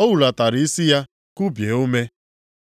O hulatara isi ya, kubie ume.